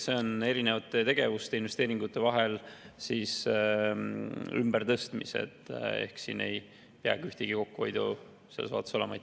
See on erinevate tegevuste, investeeringute raha ümbertõstmine, siin ei peagi kokkuhoidu olema.